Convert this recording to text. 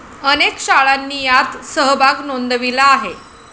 अनेक शाळांनी यात सहभाग नोंदविला आहे.